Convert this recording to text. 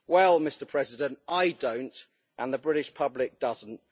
Well, Mr President, I don't, and the British public doesn't.